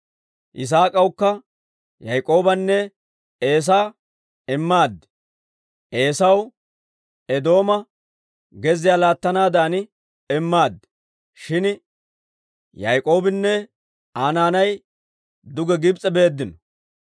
Yisaak'awukka Yaak'oobanne Eesaa immaad. Eesaw Eedooma gezziyaa laattanaadan immaad; shin Yaak'oobinne Aa naanay duge Gibs'e beeddino.